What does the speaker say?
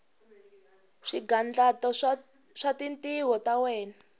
swigandlato swa tintiho ta wena